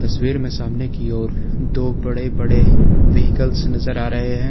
तस्वीर में सामने की ओर दो बड़े बड़े व्हीकल्स नजर आ रहे हैं।